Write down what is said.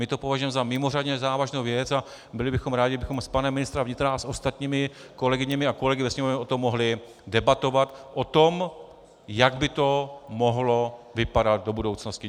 My to považujeme za mimořádně závažnou věc a byli bychom rádi, kdybychom s panem ministrem vnitra a s ostatními kolegyněmi a kolegy ve Sněmovně o tom mohli debatovat, o tom, jak by to mohlo vypadat do budoucnosti.